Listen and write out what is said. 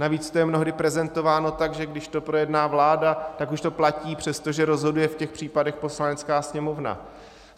Navíc to je mnohdy prezentováno tak, že když to projedná vláda, tak už to platí, přestože rozhoduje v těch případech Poslanecká sněmovna.